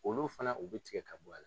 Olu fana, u bi tigɛ ka bɔ a la.